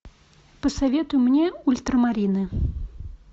посоветуй мне ультрамарины